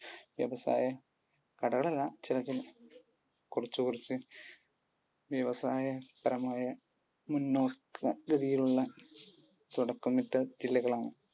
വ്യവസായ കടകളല്ല. ചില ചില കുറച്ചു കുറച്ചു വ്യവസായപരമായ മുന്നോക്ക ഗതിയിലുള്ള തുടക്കമിട്ട ജില്ലകളാണ്.